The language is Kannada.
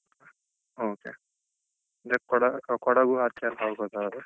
Okay ಅಂದ್ರೆ ಕೊಡ ಕೊಡಗು ಅಚೆಯೆಲ್ಲಾ ಹೋಗೋದಾದ್ರೆ